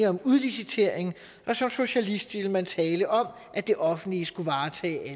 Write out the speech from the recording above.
om udlicitering og som socialist ville man tale om at det offentlige skulle varetage